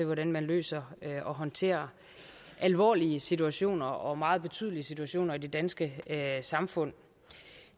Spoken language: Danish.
hvordan man løser og håndterer alvorlige situationer og meget betydelige situationer i det danske samfund